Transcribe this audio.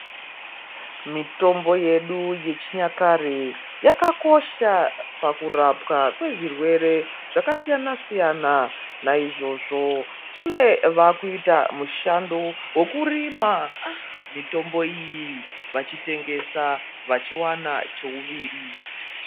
Mitombo yedu yechinyakare yakakosha pakurapwa kwezvirwere zvakasiyana siyana naizvozvo kune varikuita mushando wekurima mutombo iyi vachitengesa vachiwana cheuviri.